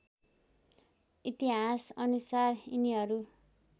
इतिहास अनुसार यिनीहरू